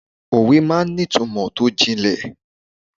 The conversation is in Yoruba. Òwe máa ń ní ìtumò tó jìnlẹ̀.